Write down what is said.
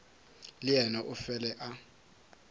le yena o fele a